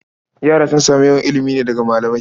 Yara sun samu yawan ilimi ne daga malamai.